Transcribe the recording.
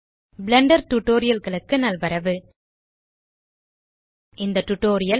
Blender Tutorialகளுக்கு நல்வரவு இந்த டியூட்டோரியல்